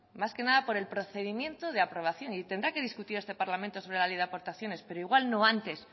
más que nada por el procedimiento de aprobación y tendrá que discutir este parlamento sobre la ley de aportaciones pero no igual no antes